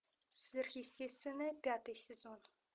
сверхъестественное пятый сезон